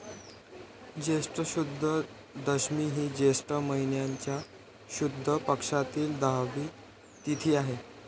ज्येष्ठ शुद्ध दशमी ही ज्येष्ठ महिन्याच्या शुद्ध पक्षातील दहावी तिथी आहे.